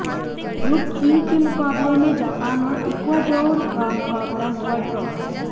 group C के मुकाबले में जापान और इक्वाडोर का मुकाबला हुआ ड्रॉ